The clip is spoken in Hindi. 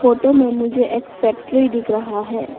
फोटो में मुझे एक फैक्ट्री दिख रहा है।